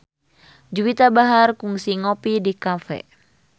Juwita Bahar kungsi ngopi di cafe